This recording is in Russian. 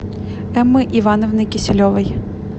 эммы ивановны киселевой